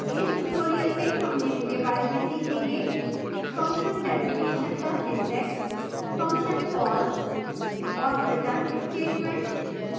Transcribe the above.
इस tutorial में हम निम्न के बारे में सीखेंगेfunction definition का सिंटैक्स function call और return statement